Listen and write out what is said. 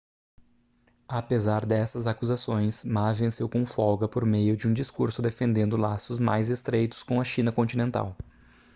apesar dessas acusações ma venceu com folga por meio de um discurso defendendo laços mais estreitos com a china continental